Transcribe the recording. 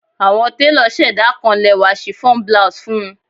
Awọn telo ṣẹda kan lẹwa chiffon blouse fun u